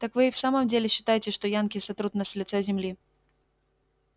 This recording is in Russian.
так вы и в самом деле считаете что янки сотрут нас с лица земли